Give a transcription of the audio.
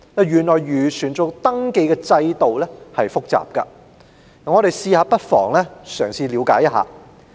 原來漁船的登記制度很複雜，我們不妨嘗試了解一下。